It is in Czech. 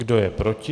Kdo je proti?